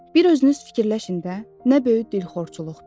Bir özünüz fikirləşin də, nə böyük dilxorçuluqdur.